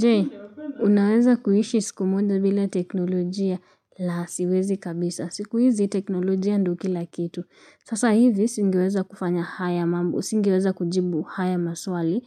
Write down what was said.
Jee, unaweza kuishi siku moja bila teknolojia? La siwezi kabisa. Siku hizi teknolojia ndiyo kila kitu. Sasa hivi singeweza kufanya haya mambo, singeweza kujibu haya maswali